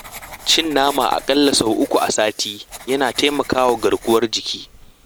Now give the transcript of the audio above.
Cin nama a ƙalla sau uku a sati yana taimakawa garkuwar jiki.